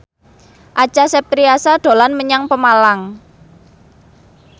Acha Septriasa dolan menyang Pemalang